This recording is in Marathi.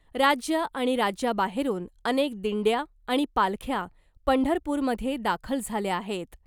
राज्य आणि राज्याबाहेरून अनेक दिंड्या आणि पालख्या पंढरपूरमध्ये दाखल झाल्या आहेत .